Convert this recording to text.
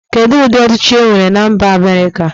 Kedu ụdị ọchịchi e nwere na mba Amerika.